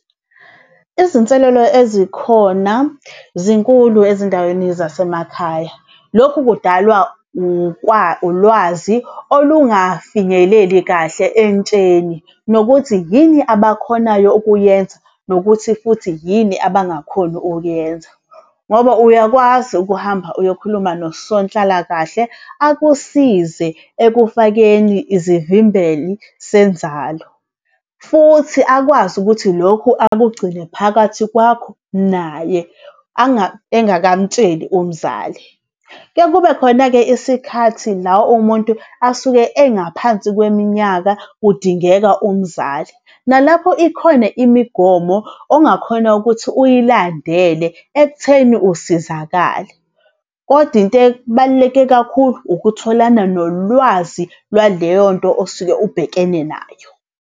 Izinselelo ezikhona zinkulu ezindaweni zasemakhaya, lokhu kudalwa ulwazi olungafinyeleli kahle entsheni nokuthi yini abakhonayo ukuyenza nokuthi futhi yini abangakhoni ukuyenza. Ngoba uyakwazi ukuhamba uyokhuluma nosonhlalakahle akusize ekufakeni izivimbeli senzalo. Futhi akwazi ukuthi lokhu akugcine phakathi kwakho naye engakamtsheli umzali. Kuyaye kube khona-ke isikhathi la umuntu asuke engaphansi kweminyaka kudingeka umzali, nalapho ikhona imigomo ongakhona ukuthi uyilandele ekutheni usizakale. Kodwa into ebaluleke kakhulu ukutholana nolwazi lwaleyo nto osuke ubhekene nayo.